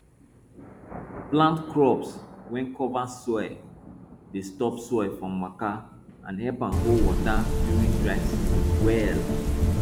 plant crops wey cover soil dey stop soil from waka and help am hold water during dry season well